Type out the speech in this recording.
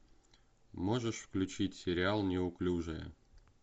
можешь включить сериал неуклюжая